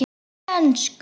Talaðu ensku!